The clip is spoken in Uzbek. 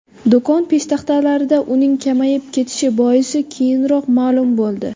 Do‘kon peshtaxtalarida uning kamayib ketishi boisi keyinroq ma’lum bo‘ldi.